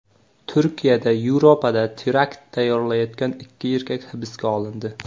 Turkiyada Yevropada terakt tayyorlayotgan ikki erkak hibsga olindi.